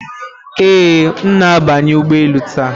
Ee, m na-abanye ụgbọ elu taa.